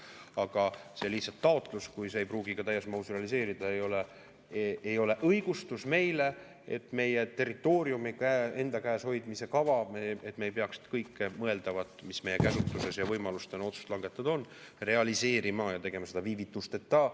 Aga see taotlus, kui see ei pruugi ka täies mahus realiseeruda, ei ole õigustus meile, et meie territooriumi enda käes hoidmise kava me ei peaks kõike mõeldavat, mis meie käsutuses ja võimalustena otsust langetada on, realiseerima ja tegema seda viivitusteta.